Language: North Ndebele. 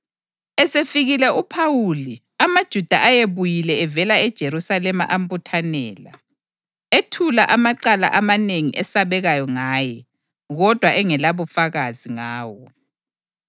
Esefikile uPhawuli amaJuda ayebuyile evela eJerusalema ambuthanela, ethula amacala amanengi esabekayo ngaye, kodwa engelabufakazi ngawo.